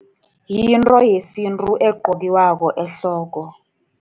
Yinto yesintu egqokwako ehloko.